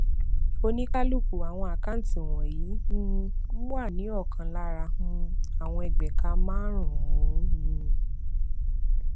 oníkálukú àwọn àkáǹtí wònyí um wà ní òkan lára um àwọn ẹgbéẹka márùnún um